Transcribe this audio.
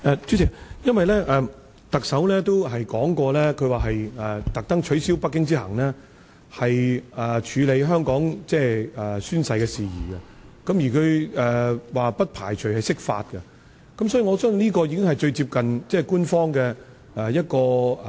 主席，特首也表示刻意取消北京之行來處理香港宣誓的事宜，而他說不排除釋法，所以，我相信這可能是最接近官方想法的一種做法。